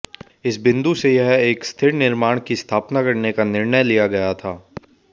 इस बिंदु से यह एक स्थिर निर्माण की स्थापना करने का निर्णय लिया गया था